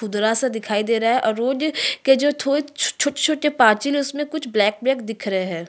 खुदरा सा दिखाई दे रहा है और रोड के जो थोड़े छोटे -छोटे पाचील है उसमें कुछ ब्लैक ब्लैक दिख रहै है।